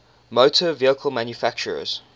motor vehicle manufacturers